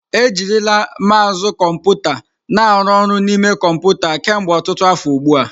Ejirila mousu kọmputa na aru oru n'ime kọmpụta kemgbe ọtụtụ afọ ugbu a.